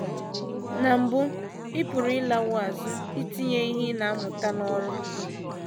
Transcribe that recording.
Na mbụ, ị pụrụ ịlawo azụ itinye ihe ị na - amụta n’ọrụ.